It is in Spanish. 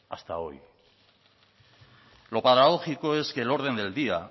hasta hoy lo paradójico es que el orden del día